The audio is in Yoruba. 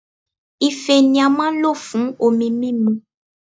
Ife ni a maa n lo fun omi mimu